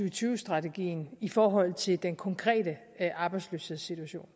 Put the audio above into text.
og tyve strategien i forhold til den konkrete arbejdsløshedssituation